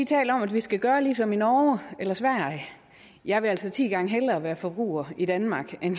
taler om at vi skal gøre ligesom i norge eller sverige jeg vil altså ti gange hellere være forbruger i danmark end